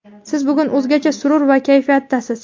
Siz bugun o‘zgacha surur va kayfiyatdasiz.